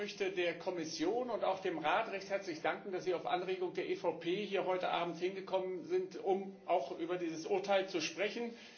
Ich möchte der Kommission und auch dem Rat recht herzlich danken, dass Sie auf Anregung der EVP heute Abend hierhergekommen sind, um auch über dieses Urteil zu sprechen.